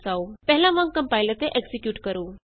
ਪਹਿਲਾਂ ਵਾਂਗ ਕੰਪਾਇਲ ਅਤੇ ਐਕਜ਼ੀਕਿਯੂਟ ਕਰੋ